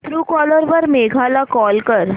Truecaller वर मेघा ला call कर